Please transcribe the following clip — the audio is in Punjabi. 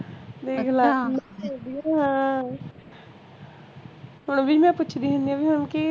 ਦੇਖਲੇ ਹੁਣ ਹੁਣ ਵੀ ਨਾ ਪੁੱਛਦੀ ਹੁੰਨੀ ਆਂ ਵੀ ਹੁਣ ਕਿ